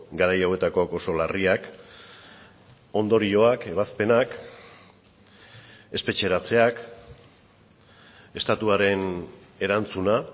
garai hauetakoak oso larriak ondorioak ebazpenak espetxeratzeak estatuaren erantzuna